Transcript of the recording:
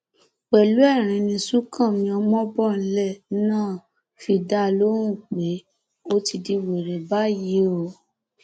pẹlú ẹrín ni sùǹkànmí ọmọbọnlẹ náà fi dá a lóhùn pé ó ti di wẹrẹ báyìí o